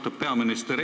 Austatud peaminister!